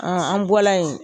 an bɔ la yen.